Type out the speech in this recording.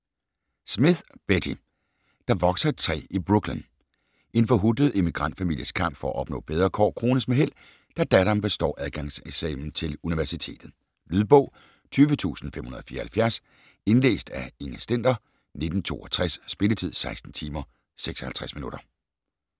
Smith, Betty: Der vokser et træ i Brooklyn En forhutlet emigrantfamilies kamp for at opnå bedre kår krones med held, da datteren består adgangseksamen til universitetet. Lydbog 20574 Indlæst af Inger Stender, 1962. Spilletid: 16 timer, 56 minutter.